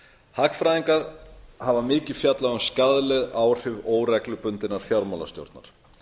hagfræðingar hafa mikið fjallað um skaðleg áhrif óreglubundinnar fjármálastjórnar